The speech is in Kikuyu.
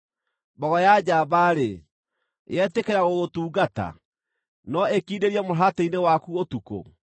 “Mbogo ya njamba-rĩ, yetĩkĩra gũgũtungata? No ĩkindĩrie mũharatĩ-inĩ waku ũtukũ?